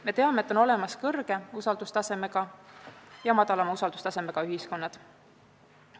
Me teame, et on olemas kõrge usaldustasemega ja madala usaldustasemega ühiskonnad.